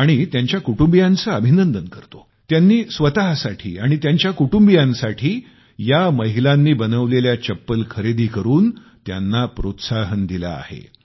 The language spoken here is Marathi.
आणि त्यांच्या कुटुंबियांचे अभिनंदन करतो त्यांनी स्वतसाठी आणि त्यांच्या कुटूंबियांकरिता या महिलांनी बनवलेल्या चप्पल खरेदी करुन त्यांना प्रोत्साहन दिले आहे